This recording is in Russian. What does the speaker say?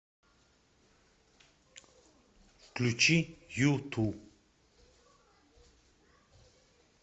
включи юту